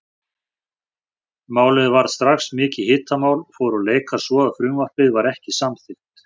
Málið varð strax mikið hitamál og fóru leikar svo að frumvarpið var ekki samþykkt.